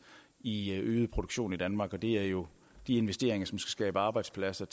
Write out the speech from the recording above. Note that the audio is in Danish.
i øget produktion i danmark og det er jo de investeringer som skal skabe arbejdspladser